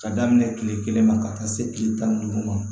Ka daminɛ kile kelen ma ka taa se kile tan ni duuru ma